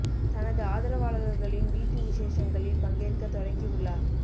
தனது ஆதரவாளர்களின் வீட்டு விசேஷங்களில் பங்கேற்க தொடங்கி உள்ளார்